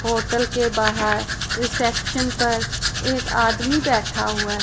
Hotel के बाहर reception पर एक आदमी बैठा हुआ है।